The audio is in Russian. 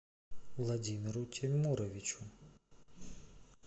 владимиру тимуровичу